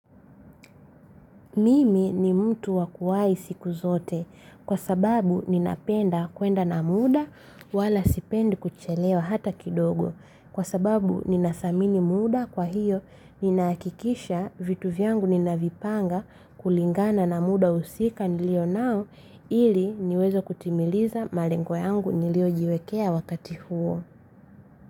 Mimi ni mtu waku wai siku zote kwa sababu ninapenda kwenda na muda wala sipendi kuchelewa hata kidogo. Kwa sababu ninadhamini muda kwa hiyo ninahakikisha vitu vyangu ninavipanga kulingana na muda husika nilio nao ili niweze kutimiliza malengo yangu nilio jiwekea wakati huo.